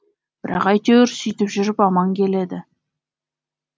бірақ әйтеуір сүйтіп жүріп аман келеді